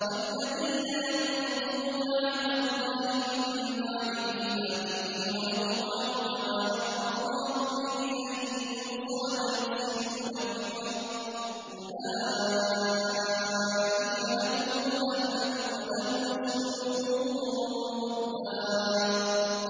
وَالَّذِينَ يَنقُضُونَ عَهْدَ اللَّهِ مِن بَعْدِ مِيثَاقِهِ وَيَقْطَعُونَ مَا أَمَرَ اللَّهُ بِهِ أَن يُوصَلَ وَيُفْسِدُونَ فِي الْأَرْضِ ۙ أُولَٰئِكَ لَهُمُ اللَّعْنَةُ وَلَهُمْ سُوءُ الدَّارِ